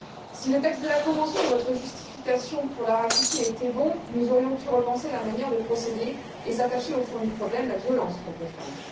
Si le texte de la convention et votre justification pour la ratifier étaient bons, nous aurions pu repenser la manière de procéder et nous attacher au fond du problème la violence contre les femmes.